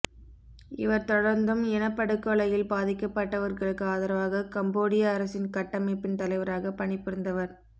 இவர் தொடர்ந்தும் இனப்படுகொலையில் பாதிக்கப்பட்டவர்களுக்கு ஆதரவாக கம்போடிய அரசின் கட்டமைப்பின் தலைவராக பணிபுரிந்தவர்